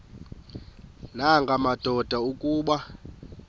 nanga madoda kuba